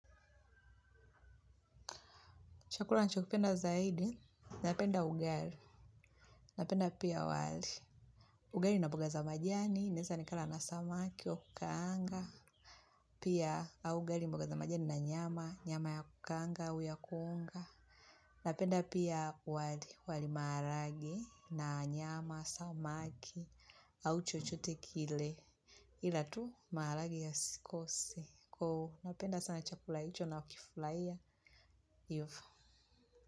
Chakula nchokipenda zaidi, napenda ugali, napenda pia wali. Ugali na boga za majani, neza nikala na samaki, wa kanga, pia ugali boga za majani na nyama, nyama ya kukanga, au ya kuonga. Napenda pia wali, wali marage, na nyama, samaki, au chochote kile. Ila tu, marage ya sikose. Kuu, napenda sana chakula icho nakifulaia. Ivo.